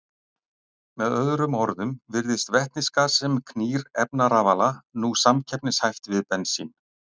Með öðrum orðum virðist vetnisgas sem knýr efnarafala nú samkeppnishæft við bensín.